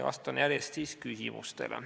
Vastan siis järjest küsimustele.